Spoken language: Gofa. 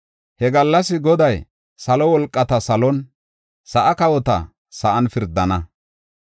He gallas Goday salo wolqata salon, sa7aa kawota sa7an pirdana.